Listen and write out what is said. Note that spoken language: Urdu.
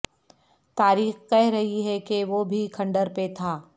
تاریخ کہہ رہی ہے کہ وہ بھی کھنڈر پہ تھا